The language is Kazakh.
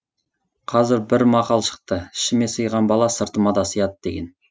қазір бір мақал шықты ішіме сыйған бала сыртыма да сыяды деген